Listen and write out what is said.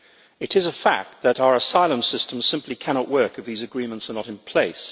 It is a fact that our asylum systems simply cannot work if these agreements are not in place.